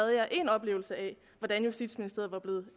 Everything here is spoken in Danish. én oplevelse af hvordan justitsministeriet